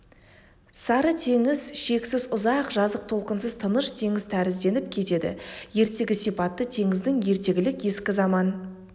сары теңіз шексіз ұзақ жазық толқынсыз тыныш теңіз тәрізденіп кетеді ертегі сипатты теңіздің ертегілік ескі заман